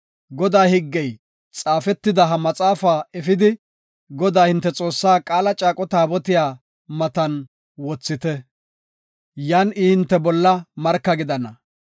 “Godaa higgey xaafetida ha maxaafa efidi, Godaa, hinte Xoossaa Qaala caaqo Taabotiya matan wothite. Yan I hinte bolla marka gidana.